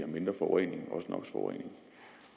en årrække